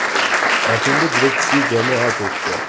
Ortimda juda kuchli jamoa turibdi.